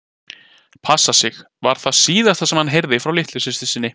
Passa sig, var það síðasta sem hann heyrði frá litlu systur sinni.